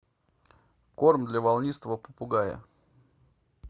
корм для волнистого попугая